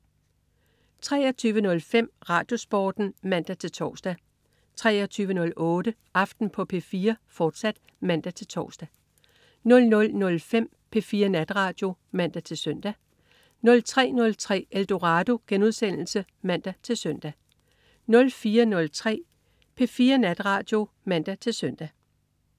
23.05 RadioSporten (man-tors) 23.08 Aften på P4, fortsat (man-tors) 00.05 P4 Natradio (man-søn) 03.03 Eldorado* (man-søn) 04.03 P4 Natradio (man-søn)